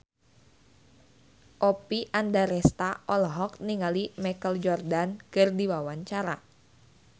Oppie Andaresta olohok ningali Michael Jordan keur diwawancara